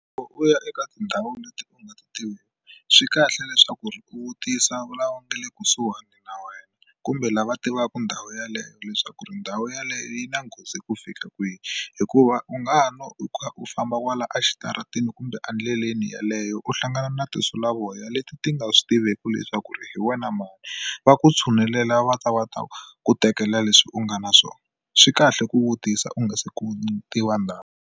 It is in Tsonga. Loko u ya eka tindhawu leti u nga ti tiveki swi kahle leswaku ri u vutisa vulawuri nga le kusuhana na wena kumbe lava tivaka ndhawu yeleyo leswaku ri ndhawu yeleyo yi na nghozi ku fika kwihi hikuva u nga no u karhi u famba va kwala exitarateni kumbe endleleni yeleyo u hlangana na tinsulavoya leti ti nga swi tiveki leswaku ri hi wena mali va ku tshunelela va ta va ta ku tekela leswi u nga na swona swi kahle ku vutisa u nga se ku tiva ndhawu.